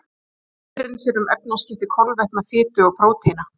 Lifrin sér um efnaskipti kolvetna, fitu og prótína.